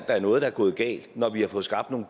at noget er gået galt når vi har fået skabt nogle